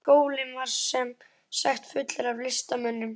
Skólinn var sem sagt fullur af listamönnum.